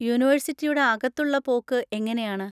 യൂണിവേഴ്സിറ്റിയുടെ അകത്തുള്ള പോക്ക് എങ്ങനെയാണ്?